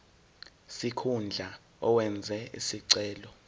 sikhundla owenze isicelo